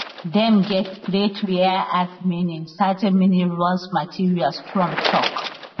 dem get great rare earth meaning certain minerals materials trump tok